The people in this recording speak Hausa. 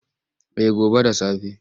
Eh gobe da safe.